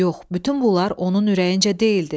Yox, bütün bunlar onun ürəyincə deyildi.